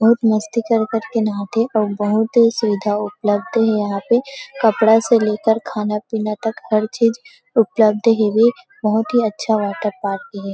बहुत मस्ती कर कर के नहात हे और बहुतही सुविधा उपलब्ध हे यहां पे कपड़ा से लेकर खाना पीना तक हर चीज़ उपलब्ध हे ये बहुत ही अच्छा वाटर पार्क हे।